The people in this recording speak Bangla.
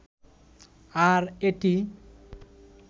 আর এটি